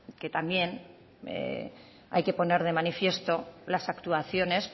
que también hay que poner de manifiesto las actuaciones